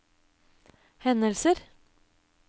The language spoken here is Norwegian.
hendelser